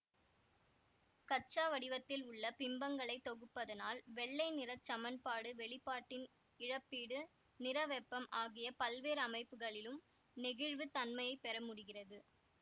கச்சா வடிவத்தில் உள்ள பிம்பங்களைத் தொகுப்பதனால் வெள்ளை நிறச் சமன்பாடு வெளிப்பாட்டின் இழப்பீடு நிற வெப்பம் ஆகிய பல்வேறு அமைப்புகளிலும் நெகிழ்வுத் தன்மையை பெற முடிகிறது